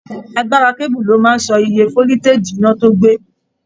Agbára keebu lo máa n sọ ìyè foliteji iná tó gbé.